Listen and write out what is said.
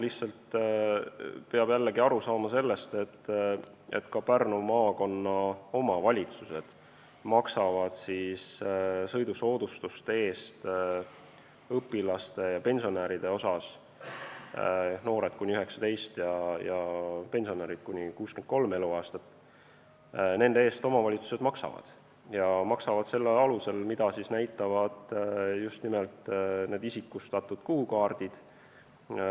Lihtsalt peab jällegi aru saama sellest, et õpilaste ja pensionäride sõidusoodustuste eest – noored kuni 19 ja pensionärid kuni 63 eluaastat – Pärnu maakonna omavalitsused maksavad, selle alusel, mida näitavad need isikustatud kuukaardid.